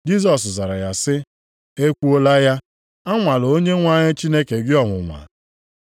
Jisọs zara ya sị, “E kwuola ya, Anwala Onyenwe anyị Chineke gị ọnwụnwa. + 4:12 \+xt Dit 6:16\+xt* ”